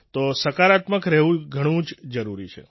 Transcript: તો સકારાત્મક રહેવું ઘણું જ જરૂરી છે